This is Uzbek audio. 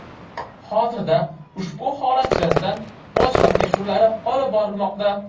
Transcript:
Hozirda ushbu holat yuzasidan bojxona tekshiruvlari olib borilmoqda.